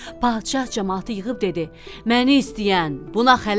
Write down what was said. Padşah camaatı yığıb dedi: Məni istəyən, buna xələt.